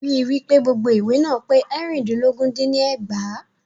Rí wípé gbogbo ìwé náà pé eérìndínlógún dín ní ẹgbàá.